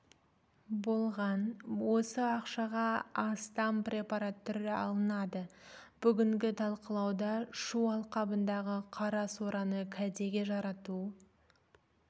болған осы ақшаға астам препарат түрі алынады бүгінгі талқылауда шу алқабындағы қара сораны кәдеге жарату